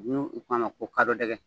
n'u ko a ma ko kadɔdɛgɛ .